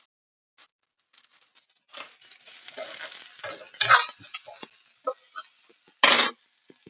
Síðasta þunga raftækið sem náð hefur almennri útbreiðslu er uppþvottavélin.